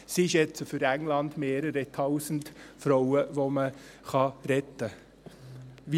Sie schätzen für England, dass es mehrere Tausend Frauen sind, die man retten kann.